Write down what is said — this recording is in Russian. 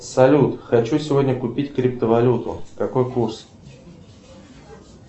салют хочу сегодня купить криптовалюту какой курс